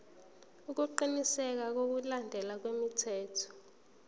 ukuqinisekisa ukulandelwa kwemithetho